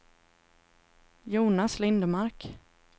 Jonas Lindmark